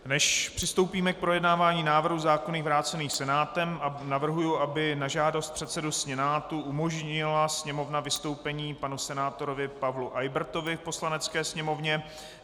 Než přistoupíme k projednávání návrhu zákonů vrácených Senátem, navrhuji, aby na žádost předsedy Senátu umožnila Sněmovna vystoupení panu senátorovi Pavlu Eybertovi v Poslanecké sněmovně.